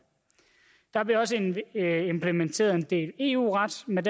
der bliver også implementeret en del eu ret med